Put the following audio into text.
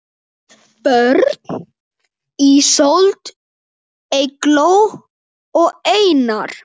Börn: Ísold, Eygló og Einar.